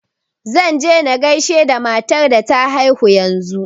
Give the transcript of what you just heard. Zan je na gasihe da matar da ta haihu yanzu.